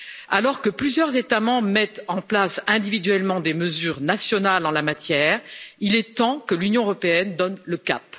Alors que plusieurs États membres mettent en place individuellement des mesures nationales en la matière, il est temps que l'Union européenne donne le cap.